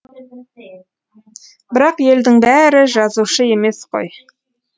бірақ елдің бәрі жазушы емес қой